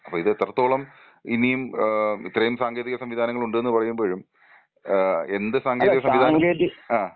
അപ്പോൾ ഇത് എത്രത്തോളം ഇനിയും ഏഹ് ഇത്രയും സാങ്കേതിക സംവിധാനങ്ങൾ ഉണ്ടെന്ന് പറയുമ്പോഴും ഏഹ് എന്ത് സാങ്കേതിക സംവിധാനം. ആ.